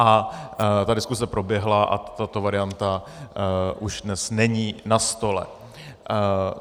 A ta diskuse proběhla a tato varianta už dnes není na stole.